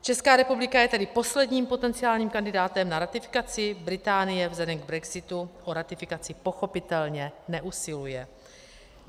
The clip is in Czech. Česká republika je tedy posledním potenciálním kandidátem na ratifikaci, Británie vzhledem k brexitu o ratifikaci pochopitelně neusiluje.